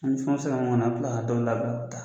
an bɛ kila ka dɔw labila.